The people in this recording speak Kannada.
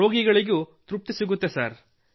ರೋಗಿಗಳಿಗೂ ತೃಪ್ತಿ ಸಿಗುತ್ತದೆ ಸರ್